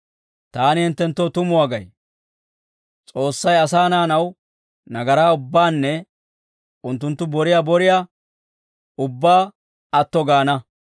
«Taani hinttenttoo tumuwaa gay; S'oossay asaa naanaw nagaraa ubbaanne unttunttu boriyaa boriyaa ubbaa atto gaana;